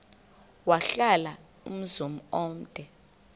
wahlala umzum omde